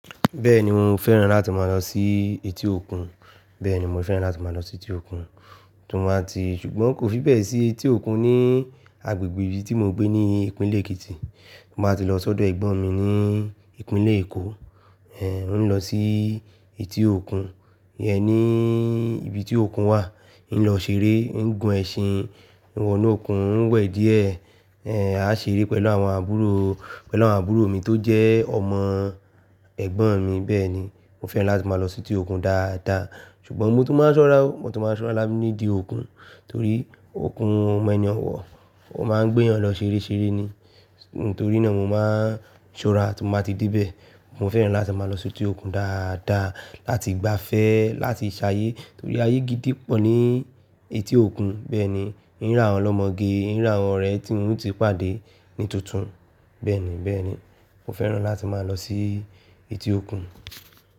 Bẹ́ẹ̀ni mo fẹ́ràn láti máa lọ sí etí òkun, bẹ́ẹ̀ni mo fẹ́ràn láti máa lọ sí etí òkun. Tun ba ti, ṣùgbọ́n kò fi bẹ́ẹ̀ sí etí òkun ní agbègbè ibi tí mo n gbé ní ìpínlẹ̀ Èkìtì. Ti n ba tí lọ sọ́dọ̀ ẹ̀gbọ́n mi ní ìpínlẹ̀ Èkó, ẹ n lọ sí etí òkun, yẹn ní ibi tí òkun wà. E n lọ ṣeré, ń gun ẹṣin, e wọ̀nú òkun ń wẹ̀ díẹ̀, ẹ á ṣeré pẹ̀lú àwọn àbúrò, pẹ̀lú àwọn àbúrò mi tó jẹ́ ọmọ ẹ̀gbọ́n mi. Bẹ́ẹ̀ni mo fẹ́ràn láti máa lọ sí etí òkun dáadáa. Ṣùgbọ́n mo tún máa ń ṣọ́ra, mo tún máa ń ṣọ́ra láti nídìí òkun torí òkun ọ mọ ẹni ọ̀wọ̀, ó máa ń gbé yan lọ ṣereṣere ni. Nítorí náà mo máa ń ṣọ́ra tí mo bá ti dé bẹ̀. Mo fẹ́ràn láti máa lọ sí etí òkun dáadáa láti gbafẹ́, láti ṣayé torí ayé gidi pọ̀ ní etí òkun. Bẹ́ẹ̀ni ń rà wọn olomọge, ń rà wọn orẹ tí un o ti pàdé ní tuntun. Bẹ́ẹ̀ni, bẹ́ẹ̀ni mo fẹ́ràn láti máa lọ sí etí òkun.